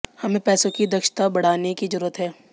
हमें पैसों की दक्षता बढ़ाने की जरूरत है